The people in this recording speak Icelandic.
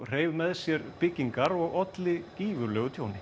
hreif með sér byggingar og olli gífurlegu tjóni